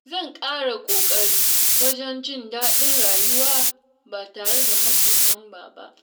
Zan kara kokari wajen jin daɗin rayuwa ba tare da matsin lamba ba.